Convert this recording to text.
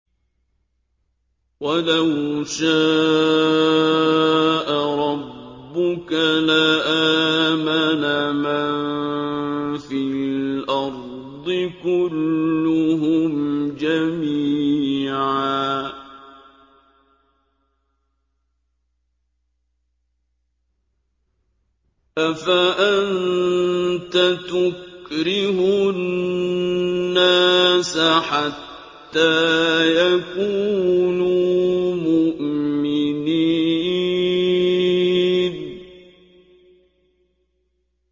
وَلَوْ شَاءَ رَبُّكَ لَآمَنَ مَن فِي الْأَرْضِ كُلُّهُمْ جَمِيعًا ۚ أَفَأَنتَ تُكْرِهُ النَّاسَ حَتَّىٰ يَكُونُوا مُؤْمِنِينَ